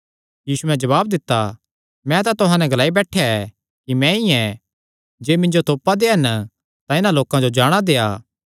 यीशुयैं जवाब दित्ता मैं तां तुहां नैं ग्लाई बैठा ऐ कि मैंई ऐ जे मिन्जो तोपा दे हन तां इन्हां लोकां जो जाणा देआ